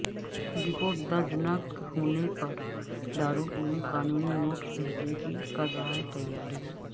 report درج نہ ہونے پر دارالعلوم قانونی نوٹس بھیجنے کی کررہاہے تیاری